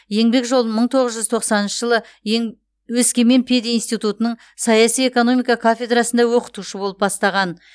еңбек жолын мың тоғыз жүз тоқсаныншы жылы ең өскемен пединститутының саяси экономика кафедрасында оқытушы болып бастаған